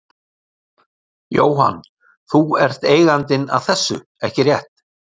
Jóhann: Þú ert eigandinn að þessum, ekki rétt?